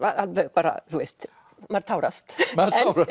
bara maður tárast